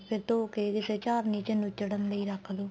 ਫੇਰ ਧੋ ਕੇ ਕਿਸੇ ਝਾਰਨੀ ਚ ਨੁਚੜਨ ਲਈ ਰੱਖ ਲੋ